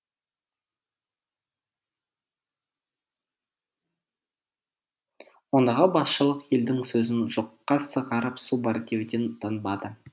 ондағы басшылық елдің сөзін жоққа шығарып су бар деуден танбады